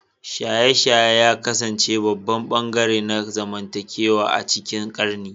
Shaye-shaye ya kasance babban ɓangare na zamantakewa a cikin ƙarni